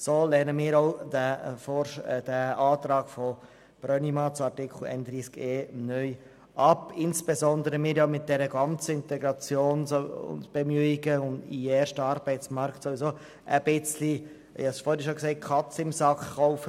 Deshalb lehnen wir auch diesen Antrag von Grossrat Brönnimann zu Artikel 31e (neu) ab und zwar insbesondere auch, weil wir mit den ganzen Integrationsbemühungen und dem Eintritt in den Erstarbeitsmarkt ohnehin ein wenig die Katze im Sack kaufen.